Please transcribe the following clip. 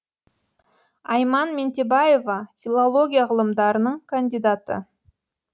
айман ментебаева филология ғылымдарының кандидаты